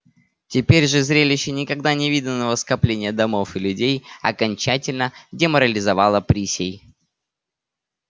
теперь же зрелище никогда не виданного скопления домов и людей окончательно деморализовало присей